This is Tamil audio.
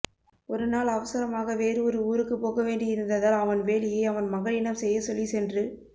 ஒருநாள் அவசரமாக வேறு ஒரு ஊருக்கு போகவேண்டி இருந்ததால் அவன் வேலையை அவன் மகனிடம் செய்ய சொல்லி சென்று